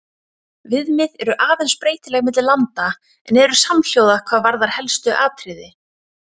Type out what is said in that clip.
Viðmið eru aðeins breytileg milli landa en eru samhljóða hvað varðar helstu atriði.